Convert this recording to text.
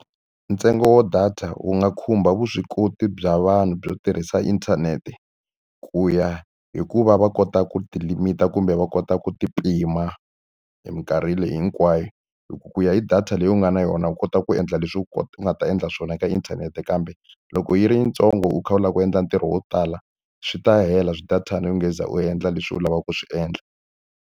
Ntsengo wa data wu nga khumba vuswikoti bya vanhu byo tirhisa inthanete, ku ya hi ku va va kota ku ti-limit-a kumbe va kota ku ti pima hi minkarhi leyi hinkwayo. Hi ku ya hi data leyi u nga na yona u kota ku endla leswi u nga ta endla swona ka inthanete kambe, loko yi ri yitsongo u kha u lava ku endla ntirho wo tala, swi ta hela swi-data-na u nge se za u endla leswi u lavaka ku swi endla.